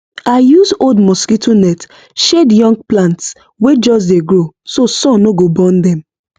i use old mosquito net shade young plants wey just dey grow so sun no go burn dem